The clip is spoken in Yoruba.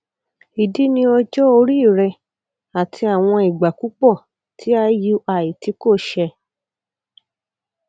idi ni ọjọ ori rẹ ati awọn igba pupọ ti iui ti ko ṣẹ